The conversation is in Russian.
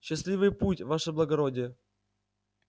счастливый путь ваше благородие